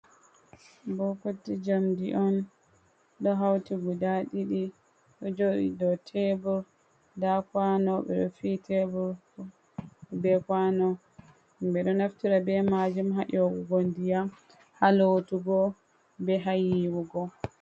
Bokoti jamdi on ɗo hauti guda ɗiɗi jodi do tebre da kwano befi tebr be kwano bido naftira be majum hayowugo ndiya, ha lotugo be hayiwugo.